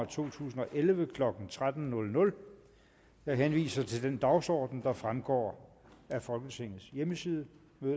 to tusind og elleve klokken tretten jeg henviser til den dagsorden der fremgår af folketingets hjemmeside